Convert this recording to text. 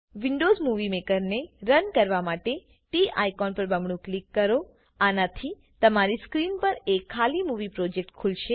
Windows movie મેકરને run કરવા માટે ટી આઇકોન પર બમણું ક્લિક કરો આનાથી તમારી સ્ક્રીન પર એક ખાલી મુવી પ્રોજેક્ટ ખુલશે